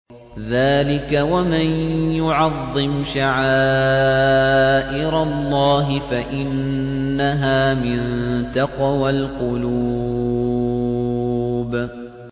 ذَٰلِكَ وَمَن يُعَظِّمْ شَعَائِرَ اللَّهِ فَإِنَّهَا مِن تَقْوَى الْقُلُوبِ